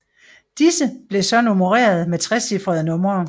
Disse blev så nummereret med trecifrede numre